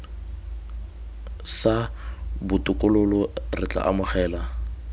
sa botokololo re tla amogela